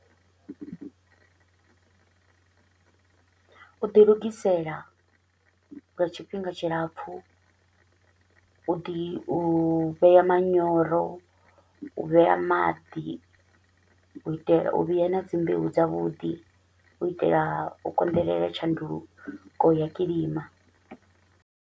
U ḓi lugisela lwa tshifhinga tshilapfu, u ḓi u vhea manyoro, u vhea maḓi, u itela u vhea na dzi mbeu dza vhuḓi u itela u konḓelela tshanduko ya kilima.